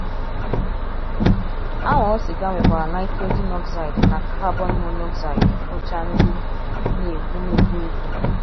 Anwụrụ siga nwekwara nitrogen oxide na carbon monoxide, bụcha gas ndị na - egbu na - egbu egbu.